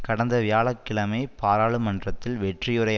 கடந்த வியாழ கிழமை பாராளுமன்றத்தில் வெற்றி உரை